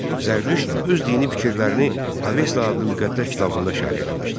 Zərdüşt öz dini fikirlərini Avesta adlı müqəddəs kitabında şərh etmişdi.